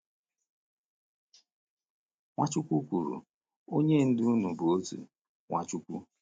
Nwachukwu kwuru: “Onye Ndu unu bụ otu, Nwachukwu.”